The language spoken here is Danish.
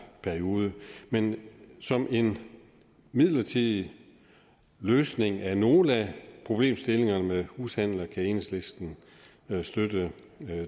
periode men som en midlertidig løsning af nogle af problemstillingerne med hushandler kan enhedslisten støtte